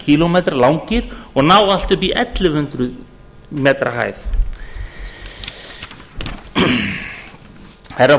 kílómetra langir og ná upp í allt að ellefu hundruð m hæð herra